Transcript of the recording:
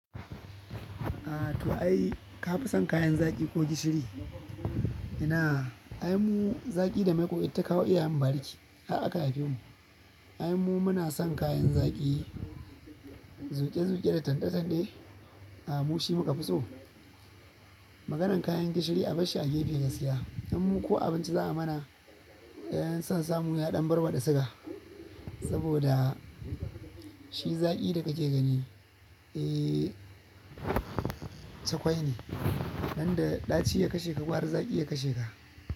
To ai ka fi son kayan zaki ko gishiri? Ina ai mu zaki da maiƙo itata kawo iyayen mu bariki. Har aka haife mu, ai mu muna son kayan zaki, zuƙe-zuƙe da tande-tande. A mushi muka fi so maganan kayan gishiri a barshi a gefe gaskiya. In mu ko abinci za'a mana, in san samu aɗan barba da siga, saboda shi zaƙi da kake gani, eh cakwai ne. Danda ɗaci ya kashe ka, gwara zaƙi ya kashe ka.